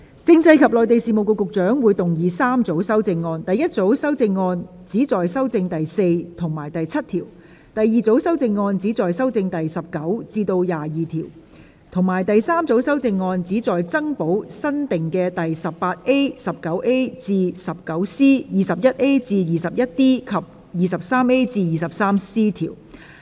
政制及內地事務局局長會動議3組修正案：第一組修正案旨在修正第4及7條；第二組修正案旨在修正第19至22條；及第三組修正案旨在增補新訂的第 18A、19A 至 19C、21A 至 21D 及 23A 至 23C 條。